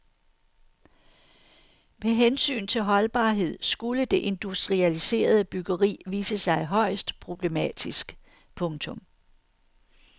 Med hensyn til holdbarhed skulle det industrialiserede byggeri vise sig højst problematisk. punktum